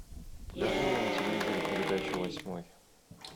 покажи мне на телевизоре передачу восьмой